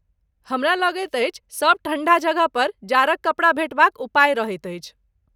हमरा लगैत अछि, सभ ठण्ढा जगहपर जाड़क कपड़ा भेटबाक उपाय रहैत अछि।